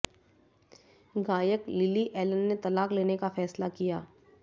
गायक Lily Allen ने तलाक लेने का फैसला किया